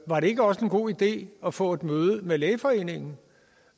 var det ikke også en god idé at få et møde med lægeforeningen